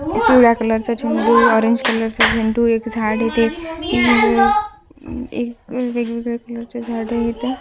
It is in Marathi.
पिवळ्या कलर चा झेंडू ऑरेंज कलर चा झेंडू एक झाड इथे वेगवेगळे कलर च झाड येते.